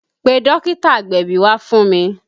Pe dókítà agbẹ̀bí wá fún mi!